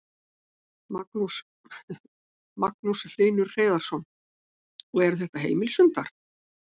Magnús Hlynur Hreiðarsson: Og eru þetta heimilishundar?